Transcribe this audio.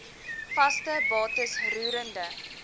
vaste bates roerende